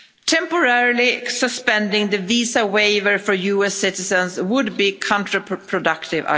Temporarily suspending the visa waiver for US citizens would be counter productive.